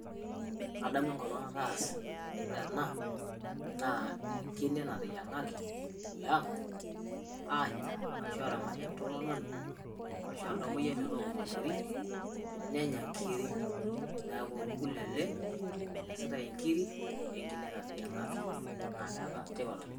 Kaadamu enkolong nataasa ore ena naa enkinee natenyang'aki te ang' anyaa orasho eramaataki entomononi arasho oltamoyayi metooko motori nenyaa enkirii ,naeku kulee elee enositai enkirii o enkinee natenyang'aki naa keeta ntipaat oleng.